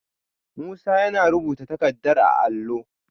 Musa yana rubuta takardar a allo